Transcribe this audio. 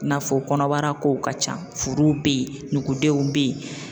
I n'a fɔ kɔnɔbara kow ka ca furuw bɛ ye nugudenw bɛ ye.